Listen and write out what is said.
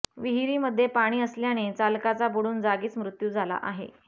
विहिरीमध्ये पाणी असल्याने चालकाचा बुडून जागीच मृत्यू झाला आहे